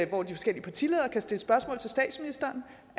hvor de forskellige partiledere kan stille spørgsmål til statsministeren